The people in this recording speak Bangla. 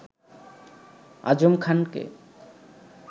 আজম খানকে